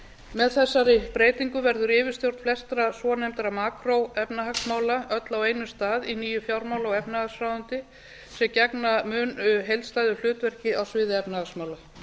með þessari breytingu verður yfirstjórn flestra svonefndra macro efnahagsmála öll á einum stað í nýju fjármála og efnahagsráðuneyti sem gegna mun heildstæðu hlutverki á sviði efnahagsmála